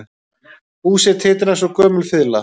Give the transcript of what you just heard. Húsið titraði eins og gömul fiðla